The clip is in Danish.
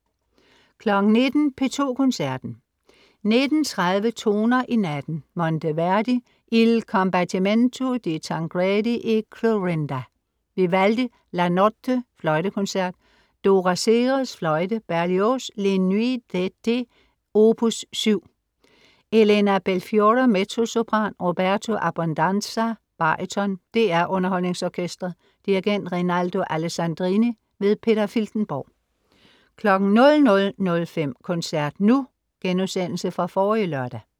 19.00 P2 Koncerten. 19.30 Toner i natten. Monteverdi: Il Combattimento di Tancredi e Clorinda. Vivaldi: La notte, fløjtekoncert. Dora Seres, fløjte. Berlioz: Les Nuits d'été opus 7. Elena Belfiore, mezzosopran. Roberto Abbondanza, baryton. DR UnderholdningsOrkestret. Dirigent: Rinaldo Alessandrini. Peter Filtenborg 00.05 Koncert nu* Genudsendelse fra forrige lørdag